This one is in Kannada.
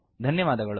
ಧನ್ಯವಾದಗಳು